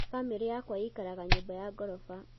bamiri yakwa ikaraga nyũmba ya ngoroba